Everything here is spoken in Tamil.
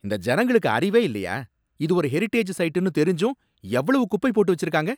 இந்த ஜனங்களுக்கு அறிவே இல்லையா? இது ஒரு ஹெரிடேஜ் சைட்டுன்னு தெரிஞ்சும் எவ்வளவு குப்பை போட்டு வெச்சுருக்காங்க.